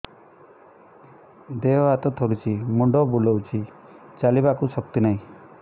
ଦେହ ହାତ ଥରୁଛି ମୁଣ୍ଡ ବୁଲଉଛି ଚାଲିବାକୁ ଶକ୍ତି ନାହିଁ